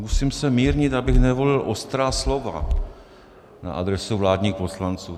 Musím se mírnit, abych nevolil ostrá slova na adresu vládních poslanců.